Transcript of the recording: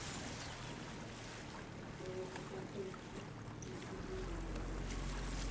nngwe gape ya thebolelo ya